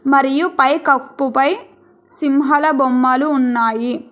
మరియు పైకప్పు పై సింహాల బొమ్మలు ఉన్నాయి.